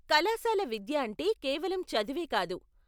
కళాశాల విద్య అంటే కేవలం చదువే కాదు.